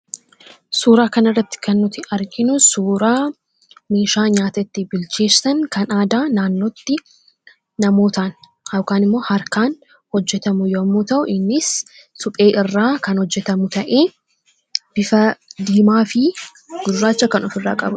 Suuraa kana irratti kan nuti arginu suuraa meeshaa nyaata itti bilcheessan kan aadaa naannootti namootaan yookaan immoo harkaan hojjetamu yemmuu ta'u, innis suphee irraa kan hojjetamu ta'ee bifa diimaa fi gurraacha kan of irraa qabuudha.